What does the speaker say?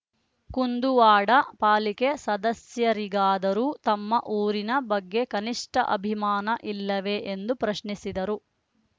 ಕುಂದುವಾಡ ಪಾಲಿಕೆ ಸದಸ್ಯರಿಗಾದರೂ ತಮ್ಮ ಊರಿನ ಬಗ್ಗೆ ಕನಿಷ್ಠ ಅಭಿಮಾನ ಇಲ್ಲವೇ ಎಂದು ಪ್ರಶ್ನಿಸಿದರು